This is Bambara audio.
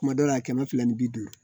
Kuma dɔw la kɛmɛ fila ni bi duuru